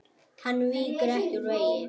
Hann víkur ekki úr vegi.